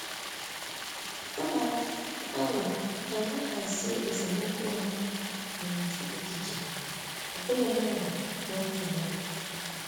Ana m atụ aro ka anyị hazie esemokwu anyị n'ụdị echiche, ọ bụghị mmadụ n'otu n'otu.